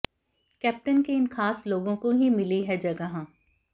captain के इन खास लोगों को ही मिली है जगह